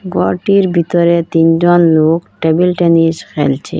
ঘরটির ভিতরে তিনজন লোক টেবিল টেনিস খেলছে।